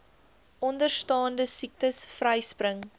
onderstaande siektes vryspring